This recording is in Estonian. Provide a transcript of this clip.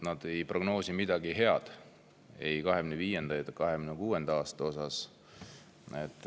Nad ei prognoosi midagi head ei 2025. ega 2026. aastaks.